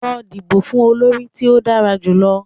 Lọ dibo fun olori ti o dara julọ!